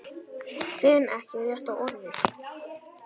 Finn ekki rétta orðið.